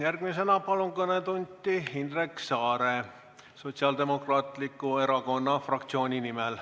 Järgmisena palun kõnepulti Indrek Saare Sotsiaaldemokraatiku Erakonna fraktsiooni nimel.